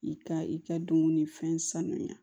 I ka i ka dumuni fɛn sanuya